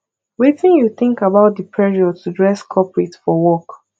wetin you think about di pressure to dress corporate for work